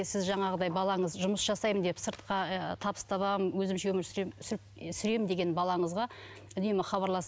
сіз жаңағыдай балаңыз жұмыс жасаймын деп сыртқа ы табыс табамын өзімше өмір сүремін сүремін деген балаңызға үнемі хабарласып